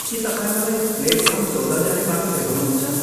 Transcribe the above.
के तपाईँ मलाई प्लेटफार्म चौध जाने बाटो देखाउनुहुन्छ?